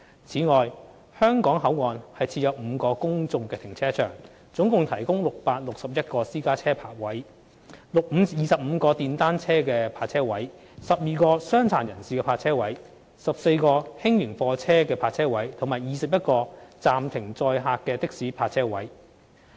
此外，香港口岸設有5個公眾停車場，共提供661個私家車泊車位、25個電單車泊車位、12個傷殘人士泊車位、14個輕型貨車泊車位及21個暫停載客的士泊車位。